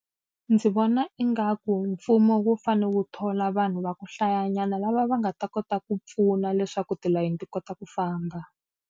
Ndzi vona ingaku mfumo wu fanele wu thola vanhu va ku hlayanyana lava va nga ta kota ku pfuna leswaku tilayeni ti kota ku famba.